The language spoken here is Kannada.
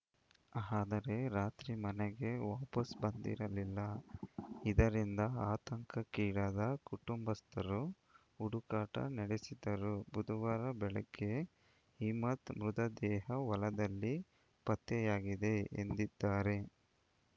ಆದರೆ ರಾತ್ರಿ ಮನೆಗೆ ವಾಪಸ್‌ ಬಂದಿರಲಿಲ್ಲ ಇದರಿಂದ ಆತಂಕಕ್ಕೀಡಾದ ಕುಟುಂಬಸ್ಥರು ಹುಡುಕಾಟ ನಡೆಸಿದ್ದರು ಬುಧವಾರ ಬೆಳಗ್ಗೆ ಹಿಮ್ಮತ್‌ ಮೃತದೇಹ ಹೊಲದಲ್ಲಿ ಪತ್ತೆಯಾಗಿದೆ ಎಂದಿದ್ದಾರೆ